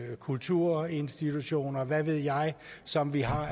kulturinstitutioner og hvad ved jeg som vi har